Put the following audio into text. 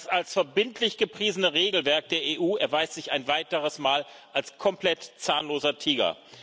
Das als verbindlich gepriesene Regelwerk der EU erweist sich ein weiteres Mal als komplett zahnloser Tiger.